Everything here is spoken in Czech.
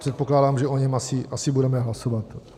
Předpokládám, že o něm asi budeme hlasovat.